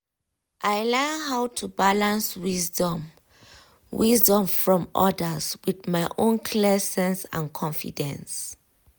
i learn how to balance wisdom wisdom from others with my own clear sense and confidence